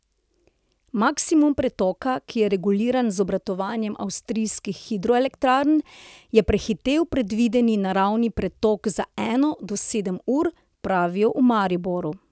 Maksimum pretoka, ki je reguliran z obratovanjem avstrijskih hidroelektrarn, je prehitel predvideni naravni pretok za eno do sedem ur, pravijo v Mariboru.